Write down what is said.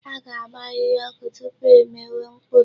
A ga-agba ahịhịa ọkụ tupu e mewe mkpuru.